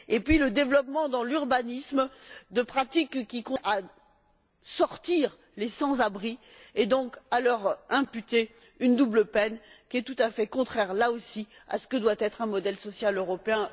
Puis, le développement, dans l'urbanisme, de pratiques destinées à éloigner les sans abri et donc à leur imposer une double peine qui est tout à fait contraire, là aussi, à ce que doit être un modèle social européen rénové.